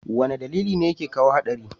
wane dalili ne yake kawo hadari?